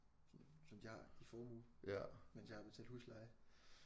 Sådan som de har i formue mens jeg har betalt husleje